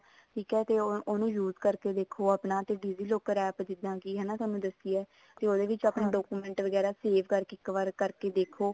ਠੀਕ ਹੈ ਤੇ ਉਹਨੂੰ use ਕਰਕੇ ਦੇਖੋ ਆਪਣਾ digi locker APP ਜਿੱਦਾਂ ਕੀ ਹਨਾ ਥੋਨੂੰ ਦੱਸੀ ਹੈ ਉਹਦੇ ਵਿੱਚ ਆਪਣੇ document ਵਗੈਰਾ save ਕਰਕੇ ਇੱਕ ਵਾਰ ਕਰਕੇ ਦੇਖੋ